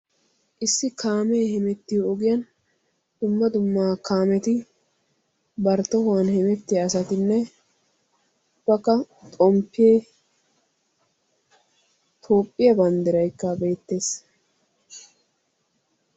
issi kaamee hemmetiyo ogiyan dumma dumma kaamettinne ubbakka xompee toophiya banddiraykka beetees.